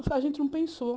Isso a gente não pensou.